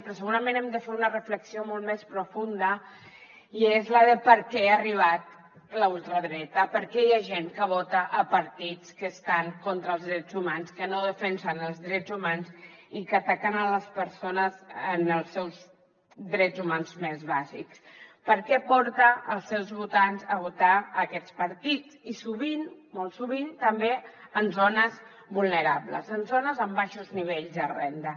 però segurament hem de fer una reflexió molt més profunda i és la de per què ha arribat la ultradreta per què hi ha gent que vota partits que estan contra els drets humans que no defensen els drets humans i que ataquen les persones en els seus drets humans més bàsics què porta els seus votants a votar aquests partits i sovint molt sovint també en zones vulnerables en zones amb baixos nivells de renda